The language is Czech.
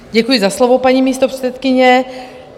Děkuji za slovo, paní místopředsedkyně.